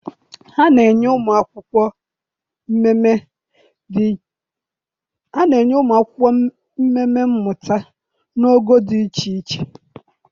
ha na-enye ụmụ akwụkwọ mmemme mmụta na ogo dị iche iche.